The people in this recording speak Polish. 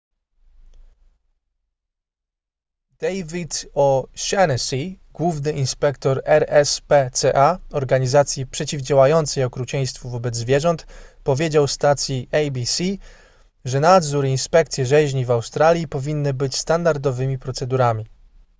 david o'shannessy główny inspektor rspca organizacji przeciwdziałającej okrucieństwu wobec zwierząt powiedział stacji abc że nadzór i inspekcje rzeźni w australii powinny być standardowymi procedurami